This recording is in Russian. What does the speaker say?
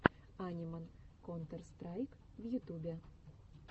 аниман контер страйк в ютубе